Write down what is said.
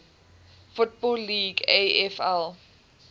football league afl